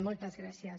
moltes gràcies